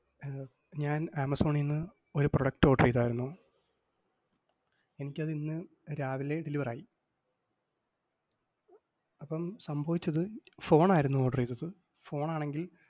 ഏർ ഞാൻ ആമസോണീന്ന് ഒരു product order ചെയ്താരുന്നു. എനിക്കതിന്ന് രാവിലെ deliver ആയി. അപ്പം സംഭവിച്ചത്, phone ആയിരുന്നു order എയ്തത്. phone ആണെങ്കിൽ,